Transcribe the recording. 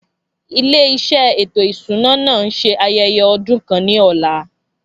Ilé iṣẹ́ ètò ìṣúná náà ń ṣe ayẹyẹ ọdún kan ní ọ̀la